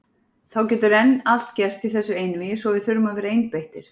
Það getur enn allt gerst í þessu einvígi svo við þurfum að vera einbeittir.